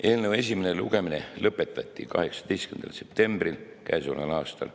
Eelnõu esimene lugemine lõpetati 18. septembril käesoleval aastal.